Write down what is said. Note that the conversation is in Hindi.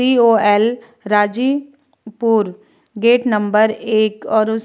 COL. Rajipur gate number एक और उस --